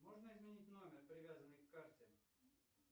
можно изменить номер привязанный к карте